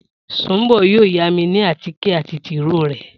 Sùnḿbò̩ yóò yámi ní àtíkè àti tìróò rè̩